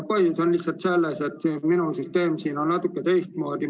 Põhjus on lihtsalt selles, et minu süsteem on natuke teistsugune.